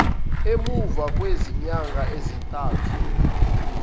emuva kwezinyanga ezintathu